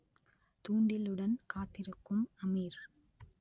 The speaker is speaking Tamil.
தூண்டிலுடன் காத்திருக்கும் அமீர்